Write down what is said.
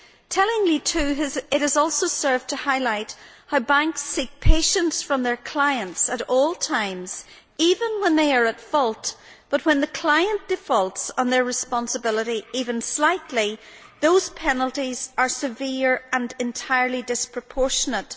Tellingly too, it has also served to highlight how banks seek patience from their clients at all times, even when they are at fault. But when clients default on their responsibility, even slightly, those penalties are severe and entirely disproportionate.